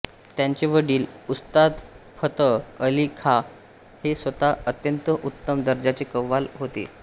त्यांचे वडील उस्ताद फतह अली खां हे स्वतः अत्यंत उत्तम दर्जाचे कव्वाल होते